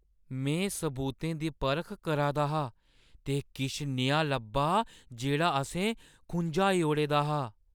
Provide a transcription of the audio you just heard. में सबूतें दी परख करा 'रदा हा ते किश नेहा लब्भा जेह्ड़ा असें खुझाई ओड़े दा हा।